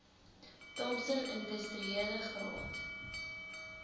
thompson industriele graad